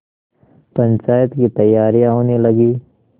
पंचायत की तैयारियाँ होने लगीं